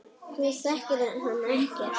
Þú þekkir hann ekkert.